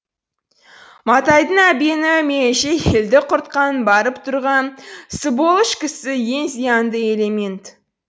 матайдың әбені меніңше елді құртқан барып тұрған сыболыш кісі ең зиянды элемент